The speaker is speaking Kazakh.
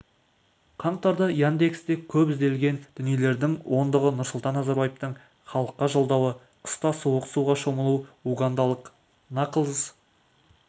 қаңтарда яндексте кеп ізделген дүниелердің ондығы нұрсұлтан назарбаевтың халыққа жолдауы қыста суық суға шомылу угандалық наклз